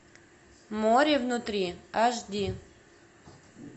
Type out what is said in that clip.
море внутри аш ди